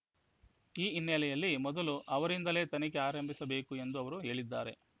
ಈ ಹಿನ್ನೆಲೆಯಲ್ಲಿ ಮೊದಲು ಅವರಿಂದಲೇ ತನಿಖೆ ಆರಂಭಿಸಬೇಕು ಎಂದು ಅವರು ಹೇಳಿದ್ದಾರೆ